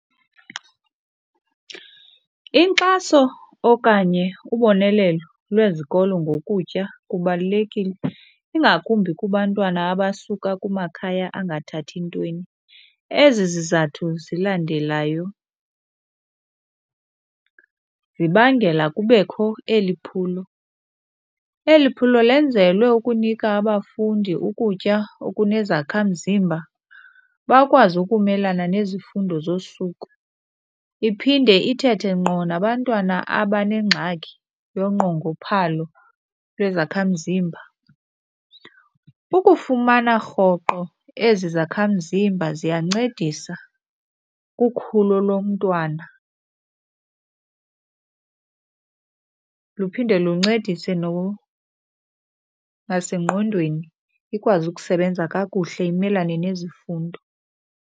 Inkxaso okanye ubonelelo lwezikolo ngokutya kubalulekile, ingakumbi kubantwana abasuka kumakhaya angathathi ntweni. Ezi zizathu zilandelayo zibangela kubekho eli phulo. Eli phulo lenzelwe ukunika abafundi ukutya okunezakhamzimba, bakwazi ukumelana nezifundo zosuku, iphinde ithethe ngqo nabantwana abanengxaki yonqongophalo lwezakhamzimba. Ukufumana rhoqo ezi zakhamzimba ziyancedisa kukhulo lomntwana , luphinde luncedise nasengqondweni ikwazi ukusebenza kakuhle imelane nezifundo.